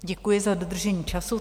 Děkuji za dodržení času.